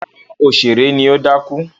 Rárá, òṣèré ni ó dákú.